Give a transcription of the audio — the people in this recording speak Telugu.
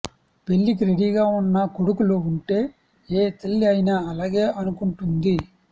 పెళ్లికి రెడీగా వున్న కొడుకులు వుంటే ఏ తల్లి అయినా అలాగే అనుకుంటుంది